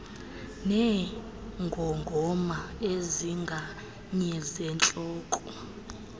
neengongoma ezinganye zentloko